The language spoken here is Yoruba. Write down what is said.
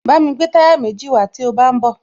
Bámi gbé táyà méjì wàá tí o bá ń bọ̀